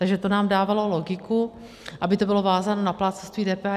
Takže to nám dávalo logiku, aby to bylo vázáno na plátcovství DPH.